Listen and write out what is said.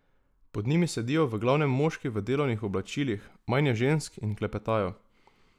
Pod njimi sedijo v glavnem moški v delovnih oblačilih, manj je žensk, in klepetajo.